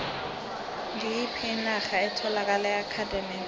ngiyiphi inarha etholakala eardennes